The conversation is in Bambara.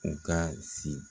U ka si.